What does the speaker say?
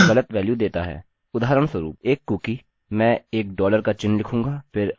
उदाहरणस्वरुप एक कुकीcookie मैं एक डॉलर का चिह्न लिखूँगा फिर अंडरस्कोरunderscore कुकीcookie